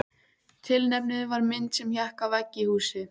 Tilefnið var mynd sem hékk á vegg í húsi.